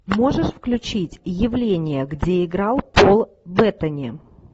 можешь включить явление где играл пол беттани